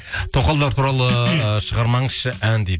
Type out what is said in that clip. тоқалдар туралы шығармаңызшы ән дейді